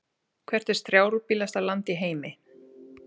Hvert er strjálbýlasta land í heimi?